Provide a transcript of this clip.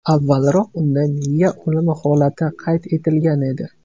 Avvalroq unda miya o‘limi holati qayd etilgan edi.